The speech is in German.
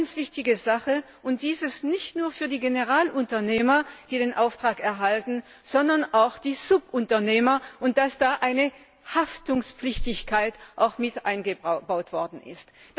Eine ganz wichtige Sache und dies nicht nur für die Generalunternehmer, die den Auftrag erhalten, sondern auch für die Subunternehmer dass da eine Haftungspflicht mit eingebaut worden ist.